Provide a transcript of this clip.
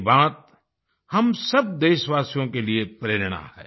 ये बात हम सब देशवासियों के लिए प्रेरणा है